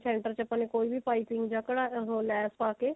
center ਵਿੱਚ ਆਪਾਂ ਨੇ ਕੋਈ ਵੀ ਪਾਈਪਿੰਨ ਜਾਂ ਕਡਾ ਉਹ ਲੈਸ ਪਾ ਕੇ